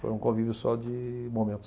Foi um convívio só de momentos.